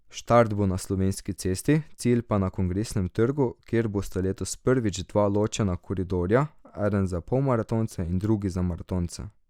Štart bo na Slovenski cesti, cilj pa na Kongresnem trgu, kjer bosta letos prvič dva ločena koridorja, eden za polmaratonce in drug za maratonce.